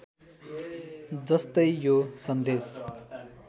जस्तै यो सन्देश